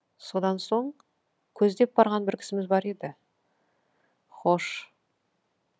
содан соң көздеп барған бір кісіміз бар еді хош